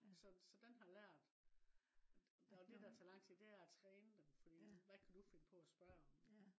så så den har lært. Og det der tager lang tid det er at træne dem fordi hvad kan du finde på at sprøge om